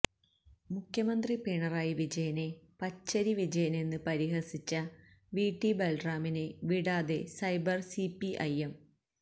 മുഖ്യമന്ത്രി പിണറായി വിജയനെ പച്ചരി വിജയനെന്ന് പരിഹസിച്ച വിടി ബല്റാമിനെ വിടാതെ സൈബര് സിപിഐഎം